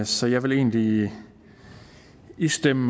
så jeg vil egentlig istemme